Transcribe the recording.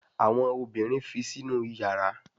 Àwọn obìrin fi Sínú iyàrá.